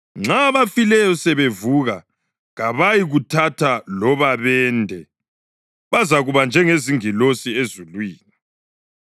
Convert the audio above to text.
Nxa abafileyo sebevuka kabayikuthatha loba bende; bazakuba njengezingilosi ezulwini.